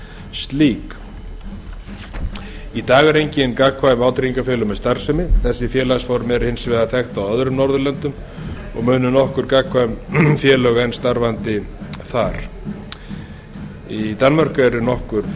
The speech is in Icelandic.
slík í dag eru engin gagnkvæm vátryggingafélög með starfsemi þetta félagaform er hins vegar þekkt á öðrum norðurlöndum og munu nokkur gagnkvæm félög enn starfandi þar í danmörku er nokkur